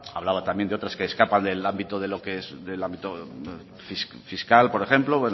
hablaba también de otras que escapan del ámbito fiscal por ejemplo